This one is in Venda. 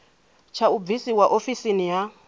tsha u bvisiwa ofisini ha